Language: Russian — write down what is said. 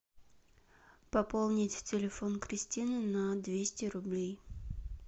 пополнить телефон кристины на двести рублей